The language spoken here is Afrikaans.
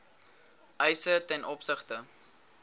eise ten opsigte